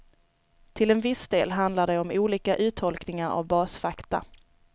Till en viss del handlar det om olika uttolkningar av basfakta.